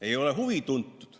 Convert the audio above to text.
Ei ole huvi tuntud.